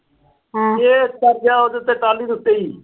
Case ਦਰਜ ਆ ਉਹਦੇ ਉੱਤੇ ਟਾਹਲੀ ਦੇ ਉੱਤੇ ਈ।